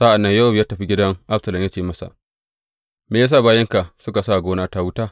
Sa’an nan Yowab ya tafi gidan Absalom ya ce masa, Me ya sa bayinka suka sa wa gonata wuta?